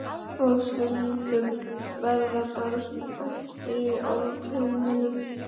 Og stundum verða börn eftir í álfheimum.